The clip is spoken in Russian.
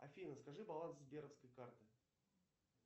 афина скажи баланс сберовской карты